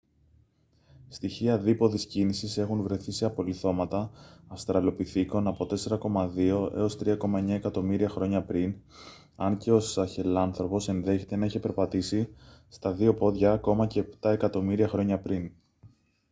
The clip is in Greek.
στοιχεία δίποδης κίνησης έχουν βρεθεί σε απολιθώματα αυστραλοπιθήκων από 4,2 - 3,9 εκατομμύρια χρόνια πριν αν και ο σαχελάνθρωπος ενδέχεται να είχε περπατήσει στα δυο πόδια ακόμα και επτά εκατομμύρια χρόνια πριν